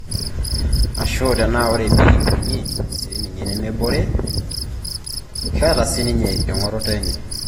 Ashu tenaa. ore Bi Winnie sininye nemebore, ketaa sininye engoroto enye.